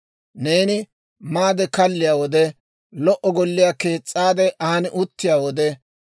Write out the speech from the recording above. Neeni maade kalliyaa wode, lo"o golliyaa kees's'aade aan uttiyaa wode,